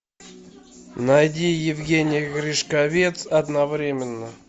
найди евгений гришковец одновременно